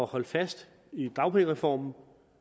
holde fast i dagpengereformen